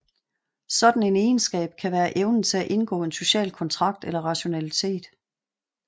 Sådan en egenskab kan være evnen til at indgå en social kontrakt eller rationalitet